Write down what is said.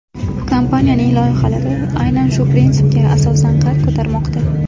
Kompaniyaning loyihalari aynan shu prinsipga asosan qad ko‘tarmoqda.